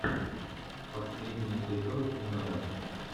последний эпизод меда